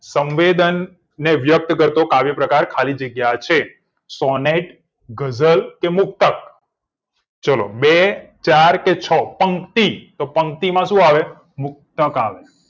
સંવેદન ને વ્યક્ત કરતો કાવ્ય પ્રકાર ખાલી જગ્યા છે સોનેટ ગઝલ કે મુક્તક ચલો બે ચાર કે છ પંક્તિ તો પંક્તિ માં શું આવે મુક્તક આવે